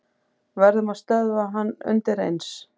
Verðum að stöðva hann undireins.